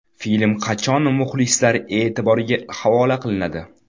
Film qachon muxlislar e’tiboriga havola qilinadi?